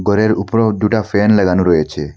এর উপরেও দুটা ফ্যান লাগানো রয়েছে।